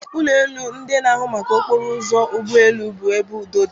Ụlọ elu ndị na-ahụ maka okporo ụzọ ụgbọ elu bụ ebe udo dị.